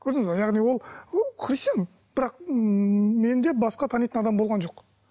көрдіңіз бе яғни ол ы христиан бірақ ммм менде басқа танитын адам болған жоқ